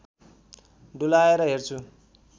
डुलाएर हेर्छु